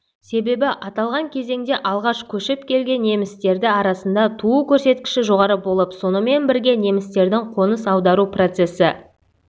себебі аталған кезеңде алғаш көшіп келген немістерді арасында туу көрсеткіші жоғары болып сонымен бірге немістердің қоныс аудару процесі